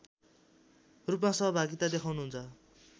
रूपमा सहभागिता देखाउनुहुन्छ